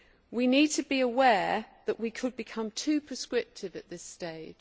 We need to be aware that we could become too prescriptive at this stage.